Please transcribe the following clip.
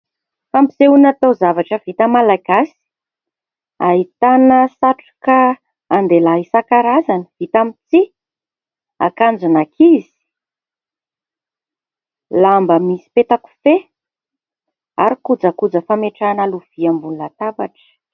Fampisehona taozavatra vita malagasy ahitana satroka an-dehilahy isankarazany vita amin'ny tsihy, akanjon'ankizy, lamba misy petakofehy ary kojakoja fametrahana lovia ambonin'ny latabatra.